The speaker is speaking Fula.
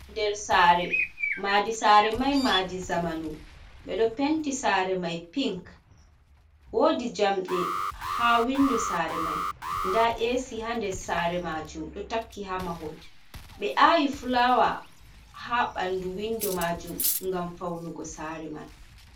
Ɗer sare maɗi sare mai maɗii zamanu. Beɗo penti sare mai piink. Woɗi jamɗe ha winɗo sare mai. Nɗa esi ha nɗer sare majum ɗo takki ha mahol. Bee awi fulawa ha banɗu winɗo majum ngam faunugo sare man.